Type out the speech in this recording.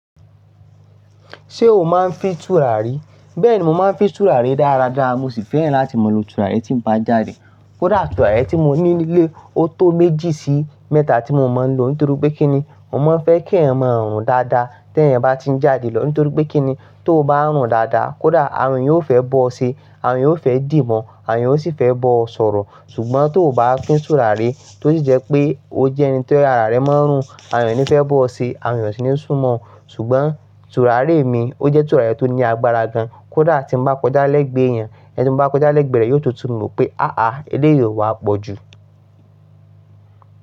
Ṣé o máa ń fín tùràrí? Bẹ́ẹ̀ni, mo máa ń fi tùràrí dáradára mo sì fẹ́ràn láti máa lo tùràrí tí n bá jáde. Kódà tùràrí tí mo ní nílé, ó tó méjì sí mẹ́ta tí mo máa ń lò nítorí pé kíni, mo máa ń fẹ́ kí èyàn mọ rùn dáadáa tí èyàn bá ti ń jáde lọ nítorí pé kíni, tó n bá rùn dáadáa, kódà àwọn èyàn ó fẹ́ bọ́ọ ṣe, àwọn èyàn ó fẹ́ dì mọ́ọ, àwọn èyàn ó sì fẹ́ bọ́ ọ sọ̀rọ̀. Ṣùgbọ́n tó bá fín tùràrí, tó sì jẹ́ pé ó jẹ́ ẹni tí ara rẹ máa ń rùn, àwọn èyàn ní fẹ́ bọ́ ọ ṣe, àwọn èyàn ò sì ní sún mọ́ ọ. Ṣùgbọ́n tùràrí mi ó jẹ́ tùràrí tó ní agbára gan. Kódà tí n bá kọjá lẹ́gbẹ́ èyàn, ẹni tí mo bá kọjá lẹ́gbẹ̀ẹ́ rẹ̀, yóò tún tun mọ̀ pé háha, eléyìí ò wá pọ̀ jù.